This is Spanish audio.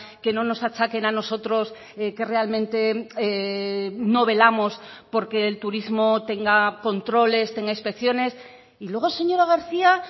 que no nos achaquen a nosotros que realmente no velamos porque el turismo tenga controles tenga inspecciones y luego señora garcía